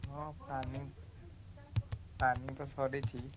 ହଁ planning planning ତ ସରିଛି।